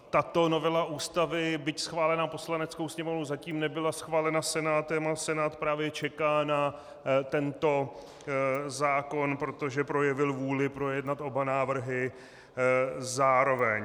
Tato novela Ústavy, byť schválená Poslaneckou sněmovnou, zatím nebyla schválena Senátem a Senát právě čeká na tento zákon, protože projevil vůli projednat oba návrhy zároveň.